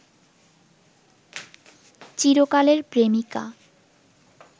চিরকালের প্রেমিকা